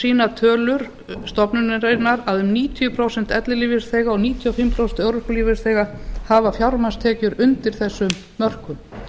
sýna tölur stofnunarinnar að um níutíu prósent ellilífeyrisþega og níutíu og fimm prósent örorkulífeyrisþega hafa fjármagnstekjur undir þessum mörkum